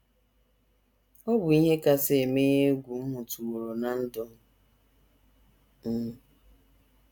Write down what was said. “ Ọ bụ ihe kasị emenye egwu m hụtụworo ná ndụ m.